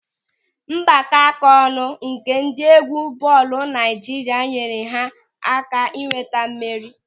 Mgbakọaka ọnụ nke ndị egwu bọọlụ Naịjirịa nyere ha aka ịnweta mmeri.